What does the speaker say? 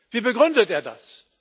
Wie begründet er das?